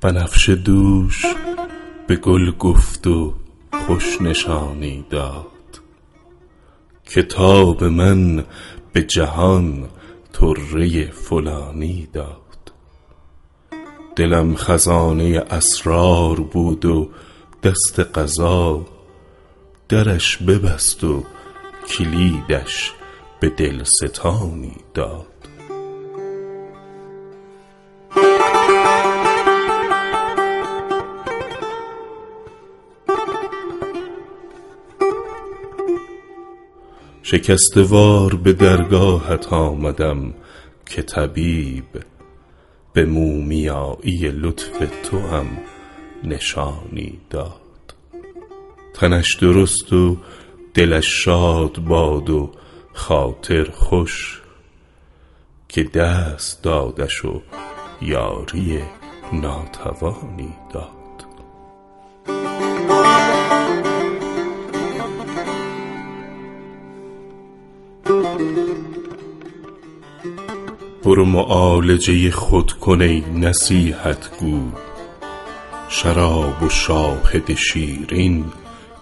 بنفشه دوش به گل گفت و خوش نشانی داد که تاب من به جهان طره فلانی داد دلم خزانه اسرار بود و دست قضا درش ببست و کلیدش به دل ستانی داد شکسته وار به درگاهت آمدم که طبیب به مومیایی لطف توام نشانی داد تنش درست و دلش شاد باد و خاطر خوش که دست دادش و یاری ناتوانی داد برو معالجه خود کن ای نصیحت گو شراب و شاهد شیرین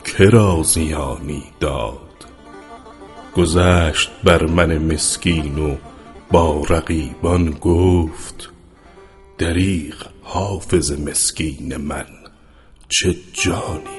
که را زیانی داد گذشت بر من مسکین و با رقیبان گفت دریغ حافظ مسکین من چه جانی داد